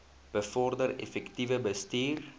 bevorder effektiewe bestuur